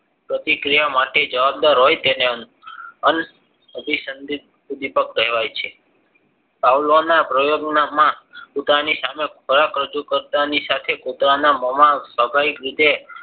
પ્રતિક્રિયા માટે જવાબદાર હોય તેને અનાભિસંદિત ઉદ્વિપક કહેવાય છે પાવલાવના પ્રયોગમાં કૂતરાની સામે ખોરાક રજુ કરતા ની સાથે કુતરાના મોમાં સ્વાભાવિક રીતે